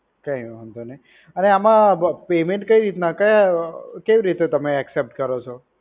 કઈ વાંધો નઈ, અને આમા payment કઈ રીતના, કયા કેવી રીતે તમે accept કરો છો